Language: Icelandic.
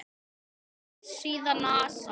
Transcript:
Vefsíða NASA.